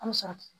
An mi sɔrɔ